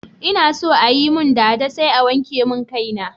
Ina so ayi mun dada sai a wanke mun kai na